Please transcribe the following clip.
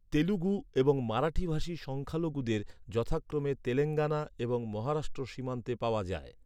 তেলুগু এবং মারাঠি ভাষী সংখ্যালঘুদের, যথাক্রমে তেলেঙ্গানা এবং মহারাষ্ট্র সীমান্তে পাওয়া যায়।